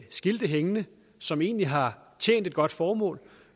skilte hængende som egentlig har tjent et godt formål